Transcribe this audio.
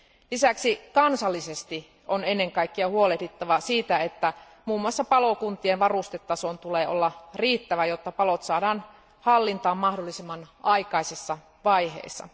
Lisäksi kansallisesti on ennen kaikkea huolehdittava siitä, että muun muassa palokuntien varustetason tulee olla riittävä, jotta palot saadaan hallintaan mahdollisimman aikaisessa vaiheessa.